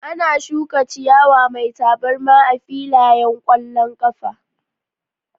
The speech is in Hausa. Ana shuka ciyawa mai tabarma a filayen ƙwallon ƙafa